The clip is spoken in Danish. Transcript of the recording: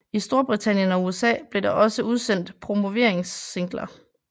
I Storbritannien og USA blev der også udsendt promoveringssingler